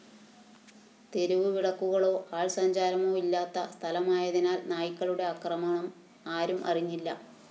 തെരുവുവിളക്കുകളോ ആള്‍സഞ്ചാരമോ ഇല്ലാത്ത സ്ഥലമായതിനാല്‍ നായ്ക്കളുടെ ആക്രമണം ആരും അറിഞ്ഞില്ല